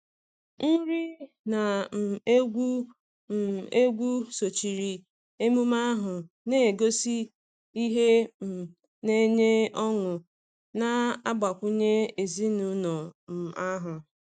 Nri na um egwu um egwu sochiri emume ahụ, na-egosi ihe um na-enye ọṅụ na-agbakwunye ezinụlọ um ahụ.